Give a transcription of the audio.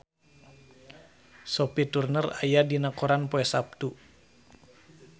Sophie Turner aya dina koran poe Saptu